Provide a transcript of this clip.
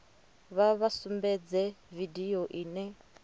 vha vha sumbedze vidio ine